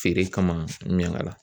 Feere kama miyangala.